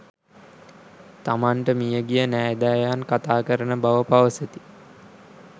තමන්ට මියගිය නෑදෑයන් කථාකරන බව පවසති.